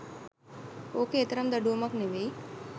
ඕක ඒ තරම් දඩුවමක් නෙවෙයි